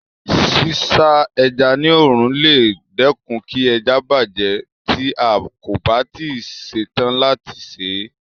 Sísá ẹja ní òòrùn lè dẹ́kun kí ẹja bàjẹ́ tí a kò bá tí ì ṣe tán láti sè é.